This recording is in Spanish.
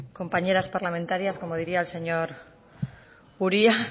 compañeras parlamentarias como diría el señor uria